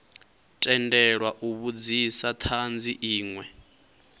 tendelwa u vhudzisa thanzi inwe